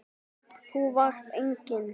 Þú varst engum lík.